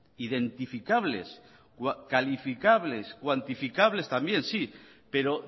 identificables calificables cuantificables también sí pero